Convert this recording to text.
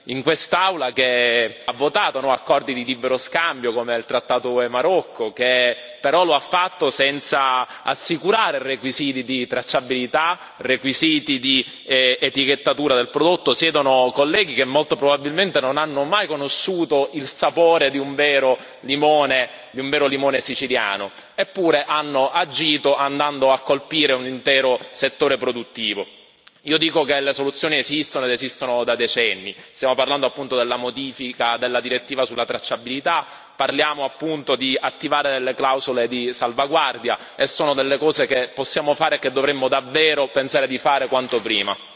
In quest'Aula, che ha votato accordi di libero scambio, come il trattato UE Marocco, che però lo ha fatto senza assicurare requisiti di tracciabilità, requisiti di etichettatura del prodotto, siedono colleghi che molto probabilmente non hanno mai conosciuto il sapore di un vero limone, di un vero limone siciliano, eppure hanno agito, andando a colpire un intero settore produttivo. Io dico che le soluzioni esistono, ed esistono da decenni stiamo parlando della modifica della direttiva sulla tracciabilità, parliamo appunto di attivare delle clausole di salvaguardia, e sono delle cose che possiamo fare e che dovremmo davvero pensare di fare quanto prima.